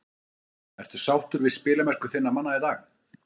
Ertu sáttur við spilamennsku þinna manna í dag?